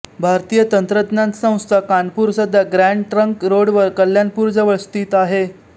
भारतीय तंत्रज्ञान संस्था कानपूर सध्या ग्रॅंड ट्रंक रोडवर कल्याणपूरजवळ स्थित आहे